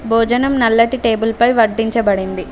భోజనం నల్లటి టేబుల్ పై పట్టించబడింది.